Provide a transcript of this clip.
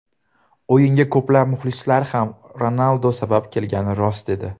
O‘yinga ko‘plab muxlislar ham Ronaldu sabab kelgani rost edi.